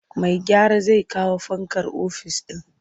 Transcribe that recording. Mai gyara zai kawo fankar ofis ɗin.